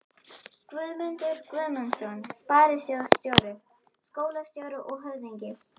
Guðmundur Guðmundsson sparisjóðsstjóri, skólastjóri og höfðingi